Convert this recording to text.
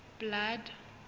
blood